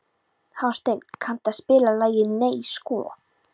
Hásteinn, kanntu að spila lagið „Nei sko“?